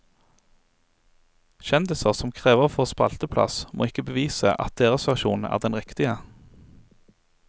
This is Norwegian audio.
Kjendiser som krever å få spalteplass, må ikke bevise at deres versjon er den riktige.